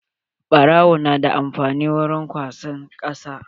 Baro na da amfani wurin kwasan kasa.